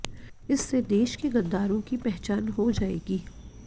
इससे देश के गद्दारों की पहचान हो जाएगी